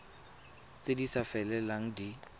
tse di sa felelang di